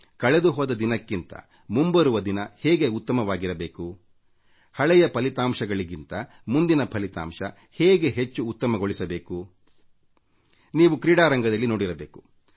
ಕಳೆದು ಹೋದ ದಿನಕ್ಕಿಂತ ಮುಂಬರುವ ದಿನ ಹೇಗೆ ಉತ್ತಮವಾಗಿರಬೇಕು ಹಳೆಯ ಫಲಿತಾಂಶಗಳಿಗಿಂತ ಮುಂದಿನ ಫಲಿತಾಂಶ ಹೇಗೆ ಹೆಚ್ಚು ಉತ್ತಮಗೊಳಿಸಬೇಕು ಎಂದು ನಿಮಗೆ ನೀವು ಸ್ಪಷ್ಟಪಡಿಸಿಕೊಳ್ಳಬೇಕು